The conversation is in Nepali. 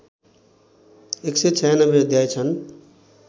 १९६ अध्याय छन्